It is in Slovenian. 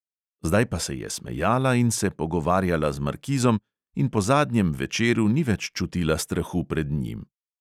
Zdaj pa se je smejala in se pogovarjala z markizom in po zadnjem večeru ni več čutila strahu pred njim.